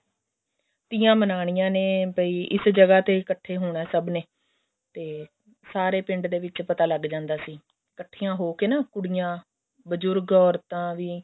ਤੀਆਂ ਮਨਾਉਣੀਆਂ ਨੇ ਵੀ ਇਸ ਜਗ੍ਹਾ ਤੇ ਇੱਕਠੇ ਹੋਣਾ ਸਭ ਨੇ ਤੇ ਸਾਰੇ ਪਿੰਡ ਦੇ ਵਿੱਚ ਪਤਾ ਲੱਗ ਜਾਂਦਾ ਸੀ ਕੱਠੀਆਂ ਹੋਕੇ ਨਾ ਕੁੜੀਆਂ ਬਜੁਰਗ ਔਰਤਾਂ ਵੀ